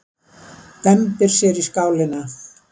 Dembir sér í skálina.